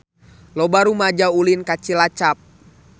Loba rumaja ulin ka Cilacap